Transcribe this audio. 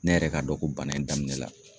Ne yɛrɛ ka dɔn ko bana in daminɛ la.